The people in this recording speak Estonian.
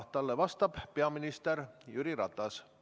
Talle vastab peaminister Jüri Ratas.